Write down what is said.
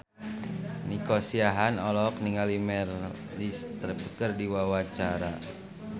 Nico Siahaan olohok ningali Meryl Streep keur diwawancara